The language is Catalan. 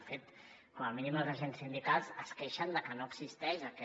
de fet com a mínim els agents sindicals es queixen de que no existeix aquest